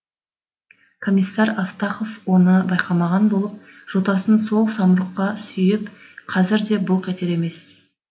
комиссар астахов оны байқамаған болып жотасын сол самұрыққа сүйеп қазір де былқ етер емес